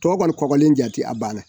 Tɔw kɔni kɔkɔlen jate a banna.